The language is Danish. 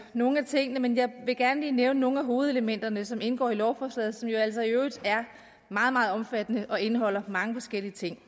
nogle af tingene men jeg vil gerne lige nævne nogle af hovedelementerne som indgår i lovforslaget som jo altså i øvrigt er meget meget omfattende og indeholder mange forskellige ting